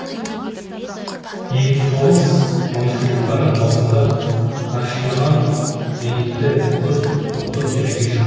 екі мың тоғыз оныншы жылдары маусымда насьонал зенитты ұтып топтық кезеңге шықты